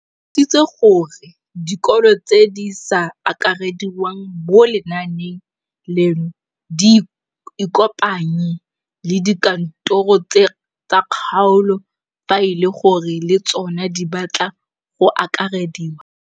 O tlhalositse gore dikolo tse di sa akarediwang mo lenaaneng leno di ikopanye le dikantoro tsa kgaolo fa e le gore le tsona di batla go akarediwa.